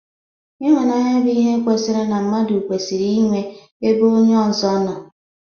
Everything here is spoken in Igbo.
Ịhụnanya bụ ihe kwesịrị na mmadụ kwesịrị inwe ebe onye ọzọ nọ.